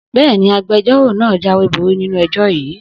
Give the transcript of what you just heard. Bẹ́ẹ̀ni, Agbẹjọ́rò náà jáwéborí nínú ẹjọ́ yìí